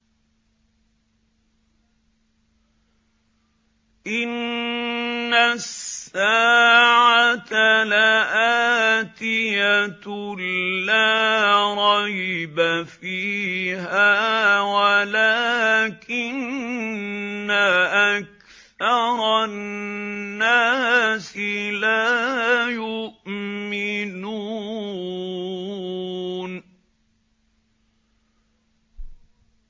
إِنَّ السَّاعَةَ لَآتِيَةٌ لَّا رَيْبَ فِيهَا وَلَٰكِنَّ أَكْثَرَ النَّاسِ لَا يُؤْمِنُونَ